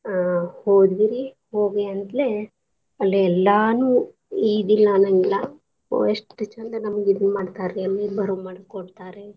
ಅ ಹೋದ್ವಿ ರಿ ಹೋಗಿಯಂತ್ಲೆ ಅಲ್ಲೆ ಎಲ್ಲಾನೂ ಇದ್ ಇಲ್ಲಾ ಅನ್ನಂಗಿಲ್ಲ ಒ ಎಷ್ಟ್ ಚಂದ್ ಇದನ್ ಮಾಡ್ತಾರೀ ಅಲ್ಲೆ ಬರುಮಾಡ್ಕೊಳ್ತಾರೇ.